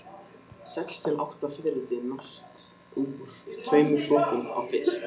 Sex til átta fiðrildi nást úr tveimur flökum af fiski.